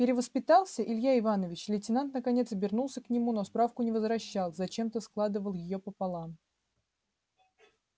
перевоспитался илья иванович лейтенант наконец обернулся к нему но справку не возвращал зачем-то складывал её пополам